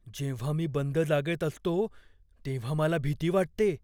जेव्हा मी बंद जागेत असतो तेव्हा मला भीती वाटते.